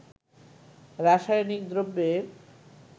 রাসায়নিক দ্রব্যের